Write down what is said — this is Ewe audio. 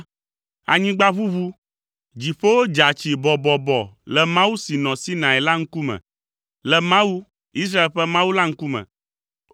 anyigba ʋuʋu, dziƒowo dza tsi bɔbɔbɔ le Mawu, si nɔ Sinai la ŋkume, le Mawu, Israel ƒe Mawu la ŋkume.